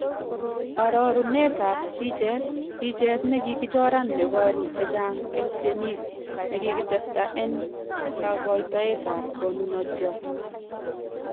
Arorunet ab bicheet, bicheet nekikichoran neboru chechang' en tyenik nekikitesta en kakoitoet ab konunotyot.